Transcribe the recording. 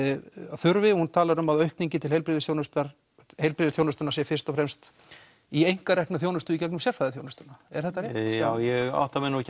þurfi hún talar um að aukning til heilbrigðisþjónustunnar heilbrigðisþjónustunnar sé fyrst og fremst í einkareknu þjónustunni í gegnum sérfræðiþjónustuna er þetta rétt já ég átta mig nú ekki